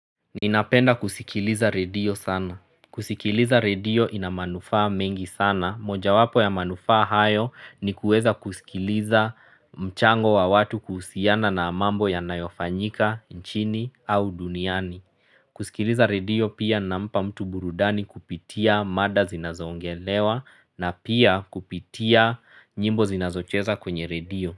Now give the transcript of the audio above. Ninapenda kusikiliza redio sana. Kusikiliza redio inamanufa mengi sana. Moja wapo ya manufa hayo ni kuweza kusikiliza mchango wa watu kuhusiana na mambo ya nayofanyika, nchini, au duniani. Kusikiliza redio pia nampa mtu burudani kupitia mada zinazoongelewa na pia kupitia nyimbo zinazocheza kwenye redio.